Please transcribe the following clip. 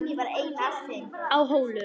Á Hólum